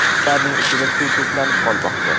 Ularning ichida suv to‘planib qolmoqda.